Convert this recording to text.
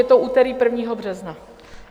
Je to úterý 1. března.